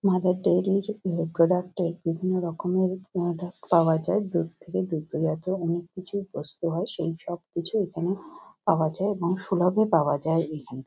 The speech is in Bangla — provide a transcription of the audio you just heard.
মাদার ডেয়ারি -র উম প্রোডাক্ট -এর বিভিন্ন রকমের প্রোডাক্ট পাওয়া যায়। দুধ থেকে দুগ্ধজাত অনেক কিছুই প্রস্তুত হয়। সেই সব কিছুই এখানে পাওয়া যায় এবং সুলভে পাওয়া যায় এইখানে |